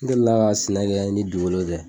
N delila ka sɛnɛ kɛ ni duukolo tɛ